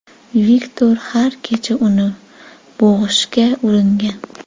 Viktor har kecha uni bo‘g‘ishga uringan.